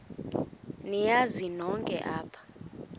niyazi nonk apha